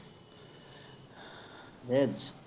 veg